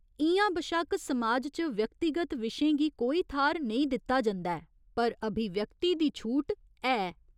इ'यां बशक्क समाज च व्यक्तिगत विशें गी कोई थाह्‌र नेईं दित्ता जंदा ऐ, पर अभिव्यक्ति दी छूट है।